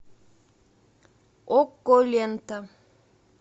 окко лента